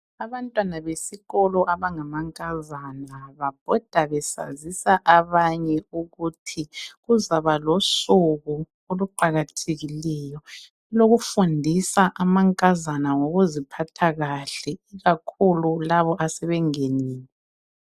Abantwana besikolo abangamankazana babhoda besazisa abanye ukuthi kuzaba losuku oluqakathekileyo olokufundisa amankazana ngokuziphatha kahle ikakhulu labo asebengenile.